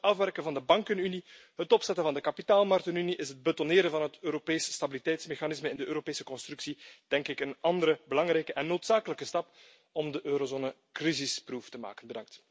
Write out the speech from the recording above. Samen met het afwerken van de bankenunie, het opzetten van de kapitaalmarktenunie is het invoegen van het Europees Stabiliteitsmechanisme in de Europese constructie, denk ik, een andere belangrijke en noodzakelijke stap om de eurozone crisisproof te maken.